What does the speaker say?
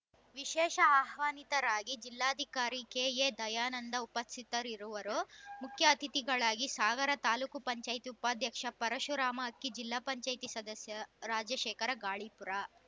ವಿಶೇಷ ಆಹ್ವಾನಿತರಾಗಿ ಜಿಲ್ಲಾಧಿಕಾರಿ ಕೆಎ ದಯಾನಂದ ಉಪಸ್ಥಿತರಿರುವರು ಮುಖ್ಯ ಅತಿಥಿಗಳಾಗಿ ಸಾಗರ ತಾಲೂಕ್ ಪಂಚಾಯತ್ ಉಪಾಧ್ಯಕ್ಷ ಪರಶುರಾಮ ಅಕ್ಕಿ ಜಿಲ್ಲಾ ಪಂಚಾಯೆತಿ ಸದಸ್ಯ ರಾಜಶೇಖರ ಗಾಳಿಪುರ